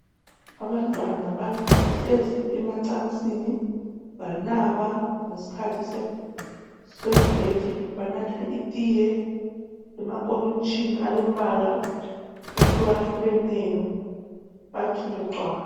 Abantwana bahlezi emacansini banaba ngesikhathi se break banatha itiye emankomitshini alembala ehlukahlukeneyo bathule cwaka.